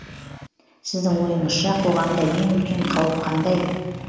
сіздің ойыңызша қоғамда ең үлкен қауіп қандай